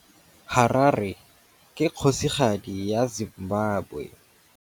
Harare ke kgosigadi ya Zimbabwe.